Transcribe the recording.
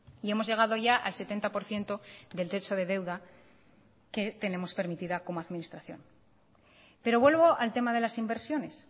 y hemos llegado ya al setenta por ciento del techo de deuda que tenemos permitida como administración pero vuelvo al tema de las inversiones